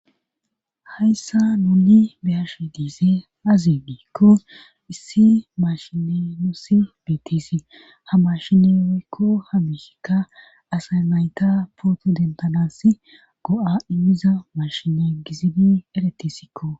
Hayssa nuni beyashe diise azi biikko issi mashinenossi biitisi ha mashineeykko hamishika asay nayta pooto dentanassi go7a immiza mashina gizini eretisikko